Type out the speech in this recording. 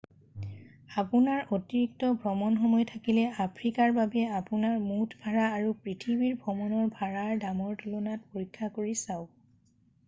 আপোনাৰ অতিৰিক্ত ভ্ৰমণ সময় থাকিলে আফ্ৰিকাৰ বাবে আপোনাৰ মুঠ ভাড়া আৰু পৃথিৱী ভ্ৰমণৰ ভাড়াৰ দামৰ তুলনাৰ পৰীক্ষা কৰি চাওক